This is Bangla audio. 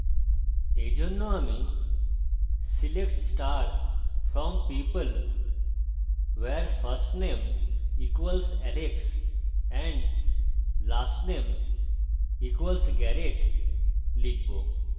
এইজন্য আমি select star from people where firstame equals alex and lastname equals garret লিখব